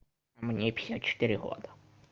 мне пятьдесят четыре года